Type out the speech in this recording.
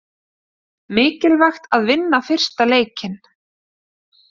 Mikilvægt að vinna fyrsta leikinn